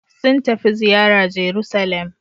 Sun tafi ziyara Jeruselem.